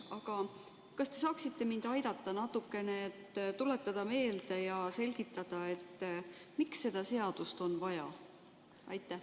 Aga kas te saaksite mind aidata natukene, et tuletada meelde ja selgitada, miks seda seadust on vaja?